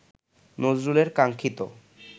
নজরুলের কাঙ্ক্ষিত